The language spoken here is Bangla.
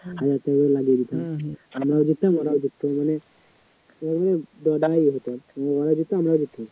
হাজার টাকাও লাগিয়ে দিতাম আমরাও জিততাম ওরাও জিততো মানে ওরাও জিততো আমরাও জিততাম